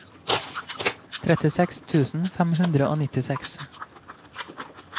trettiseks tusen fem hundre og nittiseks